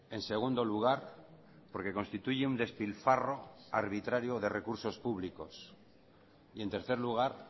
en segundo lugar porque constituye un despilfarro arbitrario de recursos públicos y en tercer lugar